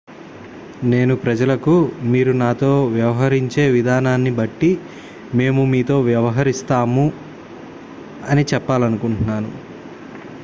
నేను ప్రజలకు మీరు మాతో వ్యవహరించే విధానాన్ని బట్టి మేము మీతో వ్యవహరిస్తాం' అని చెప్పాలనుకుంటున్నాను